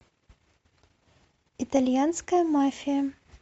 итальянская мафия